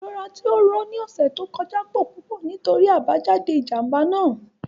Irora ti o ro ni ọsẹ to kọja pọ pupọ nitori abajade ijamba naa.